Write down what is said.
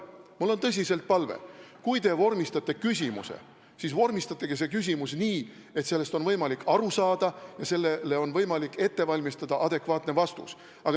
Mul on tõsiselt palve: kui te vormistate küsimuse, siis vormistage see nii, et selle teemast on võimalik aru saada ja sellele on võimalik ette valmistada adekvaatne vastus.